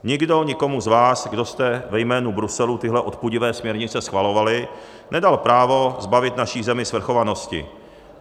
Nikdo nikomu z vás, kdo jste ve jménu Bruselu tyhle odpudivé směrnice schvalovali, nedal právo zbavit naši zemi svrchovanosti.